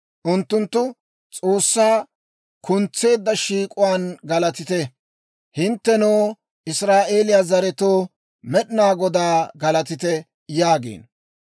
Unttunttu, «S'oossaa kuntseedda shiik'uwaan galatite; hinttenoo, Israa'eeliyaa zeretsatoo, Med'inaa Godaa galatite» yaagiino.